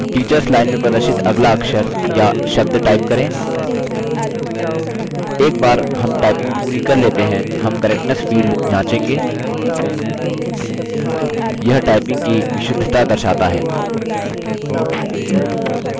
typing फिर से करने के लिए teachers line में प्रदर्शित अगला अक्षर या शब्द type करें